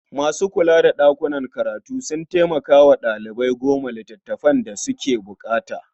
Masu kula da ɗakunan karatu sukan taimmaka wa ɗalibai gano littafan da suke buƙata.